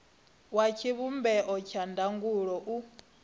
wa tshivhumbeo tsha ndangulo u